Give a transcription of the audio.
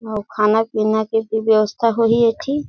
अऊ खाना पीना के भी व्यवस्था होही एती--